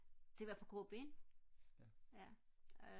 det var på gå ben ja